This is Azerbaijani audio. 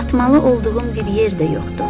Çatmalı olduğum bir yer də yoxdur.